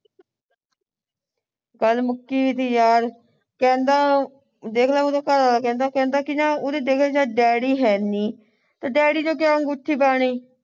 ਗੱਲ ਮੁੱਕੀ ਦੀਆ ਯਾਰ ਕਹਿੰਦਾ ਉਹ ਦੇਖਲਾ ਉਹਦਾ ਘਰਵਾਲਾ ਕਹਿੰਦਾ ਕਹਿੰਦਾ ਕੀ ਜਾਂ ਉਹਦੇ ਦੇਖ ਲੈ daddy ਹੈ ਨਹੀਂ ਤੇ daddy ਨੇ ਕਿਆ ਅੰਗੂਠੀ ਪਾਉਣੀ